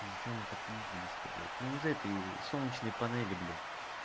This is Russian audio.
и зачем мы попиздились сюда блядь ну из-за этой солнечные панели блядь